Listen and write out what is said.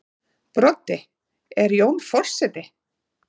Broddi: En Jón forseti?